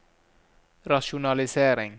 rasjonalisering